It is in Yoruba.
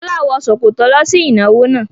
Fọlá wọ ṣòkòtò lọ sí ìnáwó náà.